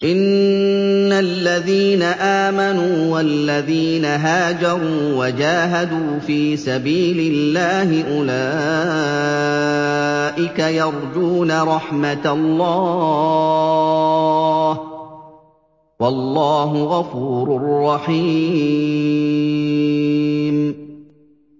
إِنَّ الَّذِينَ آمَنُوا وَالَّذِينَ هَاجَرُوا وَجَاهَدُوا فِي سَبِيلِ اللَّهِ أُولَٰئِكَ يَرْجُونَ رَحْمَتَ اللَّهِ ۚ وَاللَّهُ غَفُورٌ رَّحِيمٌ